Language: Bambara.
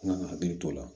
An kan ka hakili t'o la